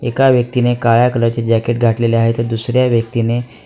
एका व्यक्तीने काळ्या कलर चे जॅकेट घातलेले आहे तर दुसऱ्या व्यक्तीने--